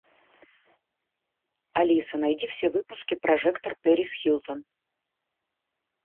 алиса найди все выпуски прожекторперисхилтон